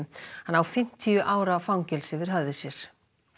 hann á fimmtíu ára fangelsi yfir höfði sér